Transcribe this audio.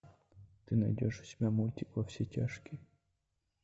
ты найдешь у себя мультик во все тяжкие